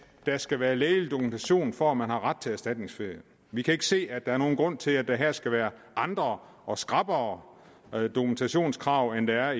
der skal være lægelig dokumentation for at man har ret til erstatningsferie vi kan ikke se at der er nogen grund til at der her skal være andre og skrappere dokumentationskrav end der